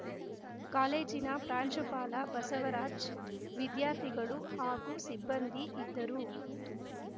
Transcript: ಕಾಲೇಜಿನ ಪ್ರಾಂಶುಪಾಲ ಬಸವರಾಜ್‌ ವಿದ್ಯಾರ್ಥಿಗಳು ಹಾಗೂ ಸಿಬ್ಬಂದಿ ಇದ್ದರು